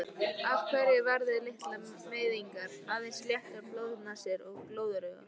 Af þessu verða litlar meiðingar, aðeins léttar blóðnasir og glóðaraugu.